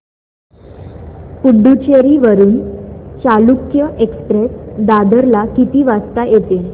पुडूचेरी वरून चालुक्य एक्सप्रेस दादर ला किती वाजता येते